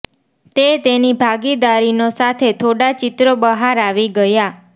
તે તેની ભાગીદારીનો સાથે થોડા ચિત્રો બહાર આવી ગયા